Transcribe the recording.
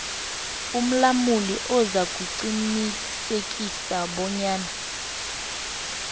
umlamuli uzakuqinisekisa bonyana